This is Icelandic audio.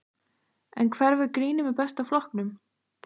En hverfur grínið með Besta flokknum?